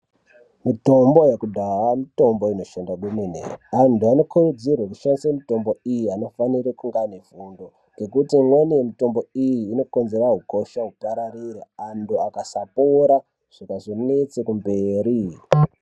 Mitombo yekudhaya mitombo inoshanda kwemene antu anokurudzirwe kushandise mitombo iyi anofanire kunge ane fundo ngekuti imweni mitombo iyi unokonzera ukosha upararire antu akasapora zvikazonetse kumberi.